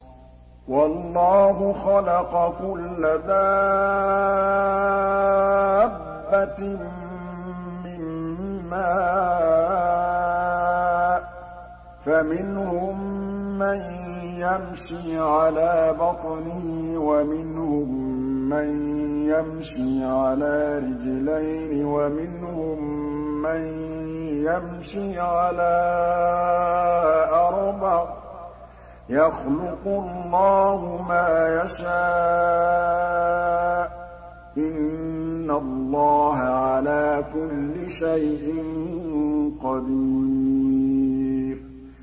وَاللَّهُ خَلَقَ كُلَّ دَابَّةٍ مِّن مَّاءٍ ۖ فَمِنْهُم مَّن يَمْشِي عَلَىٰ بَطْنِهِ وَمِنْهُم مَّن يَمْشِي عَلَىٰ رِجْلَيْنِ وَمِنْهُم مَّن يَمْشِي عَلَىٰ أَرْبَعٍ ۚ يَخْلُقُ اللَّهُ مَا يَشَاءُ ۚ إِنَّ اللَّهَ عَلَىٰ كُلِّ شَيْءٍ قَدِيرٌ